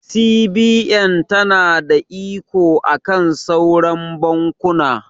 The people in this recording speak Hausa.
CBN ta na da iko akan sauran bankuna